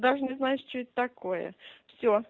даже не знаешь что это такое всё